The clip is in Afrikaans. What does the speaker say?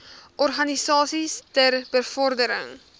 organisasies ter bevordering